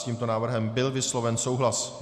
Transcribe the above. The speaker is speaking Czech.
S tímto návrhem byl vysloven souhlas.